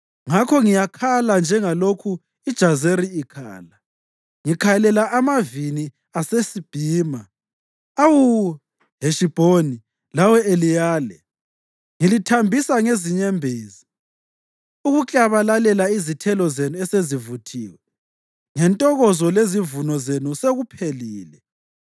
Ngakho ngiyakhala njengalokhu iJazeri ikhala, ngikhalela amavini aseSibhima. Awu Heshibhoni lawe Eliyale, ngilithambisa ngezinyembezi. Ukuklabalalela izithelo zenu esezivuthiwe ngentokozo lezivuno zenu sekuphelile.